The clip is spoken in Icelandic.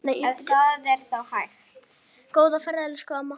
Góða ferð, elsku amma.